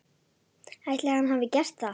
Ætli hann hafi gert það?